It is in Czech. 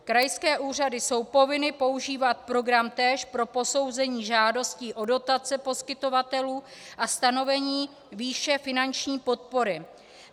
Krajské úřady jsou povinny používat program též pro posouzení žádostí o dotace poskytovatelů a stanovení výše finanční podpory.